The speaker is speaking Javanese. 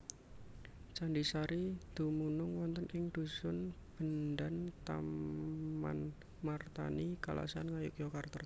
Candhi Sari dumunung wonten ing dhusun Bendan Tamanmartani Kalasan Ngayogyakarta